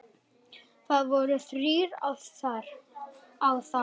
Það voru þrír á þá?